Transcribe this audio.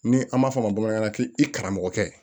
Ni an b'a fɔ a ma bamanankan na k'i karamɔgɔ kɛ